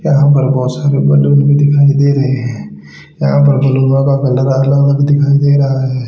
यहां पर बहोत सारे बलून भी दिखाई दे रहे है यहां पर का कलर दिखाई दे रहा है।